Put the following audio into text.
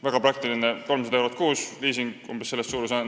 See 300 eurot kuus on väga praktiline, sest liising on umbes samas suurusjärgus.